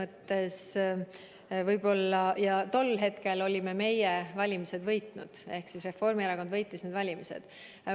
Tol hetkel olime meie valimised võitnud, Reformierakond võitis need valimised.